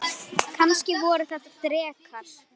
Kannski voru þetta drekar?